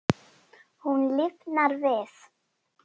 Hún lifnar við.